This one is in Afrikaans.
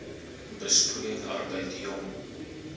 besproeiing arbeid jong